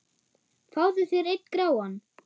Fáðu þér einn gráan!